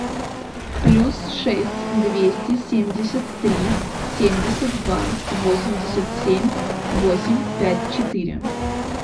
плюс шесть двести семьдесят три семьдесят два восемьдесят семь восемь пять четыре